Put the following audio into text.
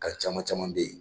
Kan caman caman bɛ ye